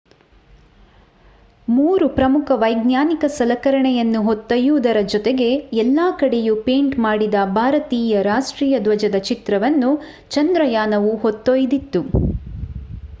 ಮೂರು ಪ್ರಮುಖ ವೈಜ್ಞಾನಿಕ ಸಲಕರಣೆಯನ್ನು ಹೊತ್ತೊಯ್ಯುವುದರ ಜೊತೆಗೆ ಎಲ್ಲ ಕಡೆಯೂ ಪೇಂಟ್ ಮಾಡಿದ ಭಾರತೀಯ ರಾಷ್ಟ್ರೀಯ ಧ್ವಜದ ಚಿತ್ರವನ್ನು ಚಂದ್ರಯಾನವು ಹೊತ್ತೊಯ್ದಿತ್ತು